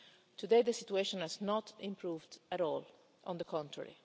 crisis. Today, the situation has not improved at all. On the